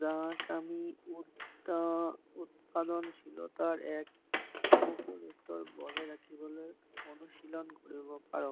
যাক আমি উৎপাদনশীতাৰ এক অনুকোল বজাই ৰাখিবলৈ অনুশীলন কৰিব পাৰো